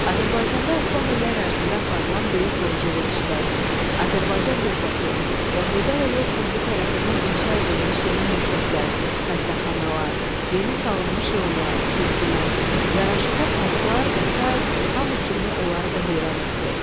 Azərbaycanda son illər ərzində aparılan böyük quruculuq işləri, Azərbaycan dövləti və Heydər Əliyev Fondu tərəfindən inşa edilmiş yeni məktəblər, xəstəxanalar, yeni salınmış yollar, körpülər, yaraşıqlı parklar və sair hamı kimi onları da heyran etdi.